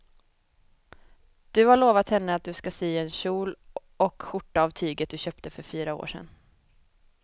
Du har lovat henne att du ska sy en kjol och skjorta av tyget du köpte för fyra år sedan.